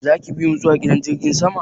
Zaki bimu zuwa gidan jirgin sama?